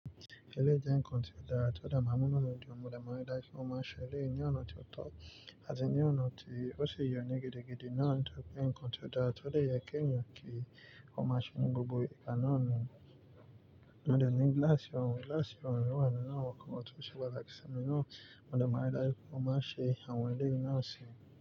Eléjé n controller, tó dà má múlò lójú ọmọlẹ̀ márídá ikún má ṣeré ní ọ̀nà tí ó tó, àti ní ọ̀nà tí ó ṣe iyàn ní gidi gidi náà n tó pé n controller tó lè yẹ kéyàn kí ó má ṣerun gbogbo ìkàná ọ̀nà. Mọ̀ dẹ̀ ní glass ọ̀rùn, glass ọ̀rùn mi wa ninu awon nkan to se pataki simi naa mo de maa n má ṣé àwọn èléyí nàa sì.